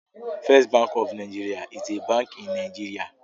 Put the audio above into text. First Bank of NIgeria is a Bank in Nigeria